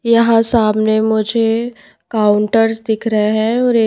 यहां सामने मुझे काउंटर्स दिख रहे हैं और एक--